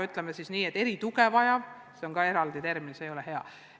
Ütleme siis, et nad vajaksid erituge – ei, see on ka eraldi termin, see ei ole hea.